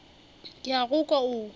ke a go kwa o